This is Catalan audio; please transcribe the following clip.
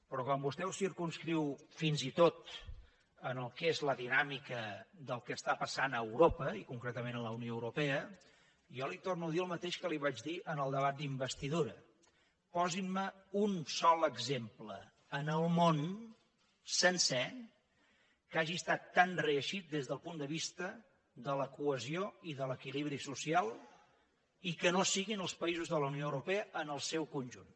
però quan vostè ho circumscriu fins i tot en el que és la dinàmica del que passa a europa i concretament a la unió europea jo li torno a dir el mateix que li vaig dir en el debat d’investidura posin me un sol exemple en el món sencer que hagi estat tan reeixit des del punt de vista de la cohesió i de l’equilibri social i que no siguin els països de la unió europea en el seu conjunt